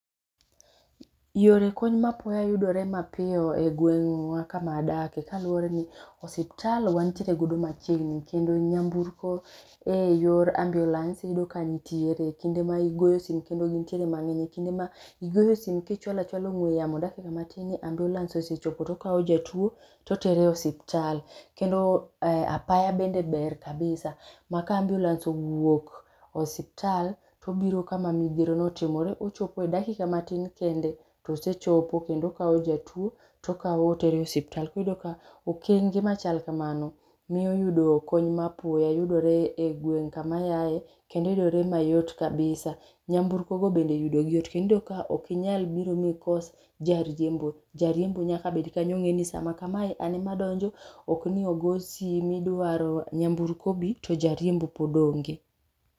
Yore kony ma apoya yudore mapiyo e gweng'wa kama adake kaluwore ni osiptal wantiere godo machiegni kendo nyamburko e yor ambulance iyudo kantiere. Kinde ma igoyo simu iyudo ka gintiere mang'eny kinde ma igoyo sime kichwala chwala ong'we yamo dakika matin ambulance osechopo tokawo jatuo torere osiptal kendo apaya bende ber kabisa ma ka ambulance owuok osiptal tobiro kama midhiero no otimre ochopo e dakika matin kende tosechopo kendo okawo jatuo tokawo otere osiptal iyudo ka okenge machal kamano miyo yudo kony ma apoya yudore e gweng kama ayaye kendo yudore mayot kabisa. Nyamburko go bende yudo gi yot iyudo ka ok inyal biro mikos jariembo. Jariembo nyaka bed kanyo ong'e ni sama kamae an ma donjo ok ni ogo sime idwaro nyamburko obi to jariembo pod onge.